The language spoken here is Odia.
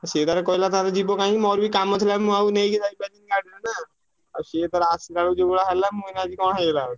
ସିଏ ତାର କହିଲା ତାର ଯିବ କାହିଁକି ମୋର ବି କାମ ଥିଲା ମୁଁ ଆଉ ନେଇକି ଯାଇପାଇଲିନି ଗାଡିରେ ନା। ଆଉ ସିଏ ତାର ଆସିଲା ବେଳକୁ ଯୋଉଭଳିଆ ହେଲା ମୁଁ କହିଲି ଆଜି କଣ ହେଇଗଲା ବୋଲି।